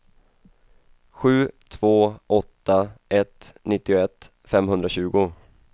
sju två åtta ett nittioett femhundratjugo